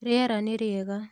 Rĩera nĩ rĩega.